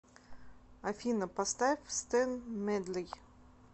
афина поставь стэн медли